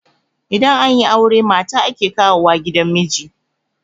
idan an yi aure mata ake kawo wa gidan miji